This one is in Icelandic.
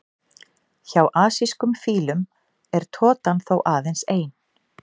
Hjá asískum fílum er totan þó aðeins ein.